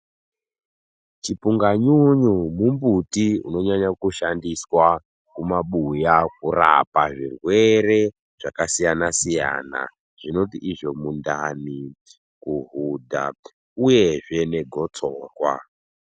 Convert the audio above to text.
Chipunga nyunyu mumbiti unonyanya kushandiswa kumabuya kurapa zvirwere zvakasiyana-siyana, zvinoti izvo mundani, kuhudha, uyezve negotsorwa.